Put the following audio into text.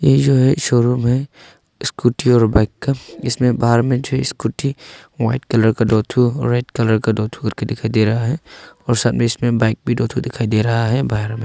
ये जो है शोरूम है स्कूटी और बाइक का इसमें बाहर में जो स्कूटी वाइट कलर का दो ठो रेड कलर का दो ठो करके दिखाई दे रहा है और सामने इसमें बाइक भी दो ठो दिखाई दे रहा है बाहर में।